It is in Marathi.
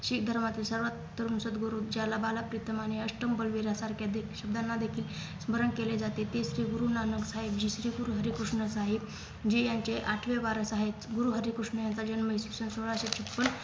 शीख धर्माचे सर्वात तरुण सद्गुरू त्याला बालाकतितमाने अष्टम बलवीरासारख्या दि शब्दांना देखील स्मरणकेले जाते तेच ते गुरुनानक साहेबजी जे गुरुहरिकृष्ण साहेब जी यांचे आठवे बारासाहेब गुरुहरिकृष्ण यांचा जन्म सोळाशे छप्पन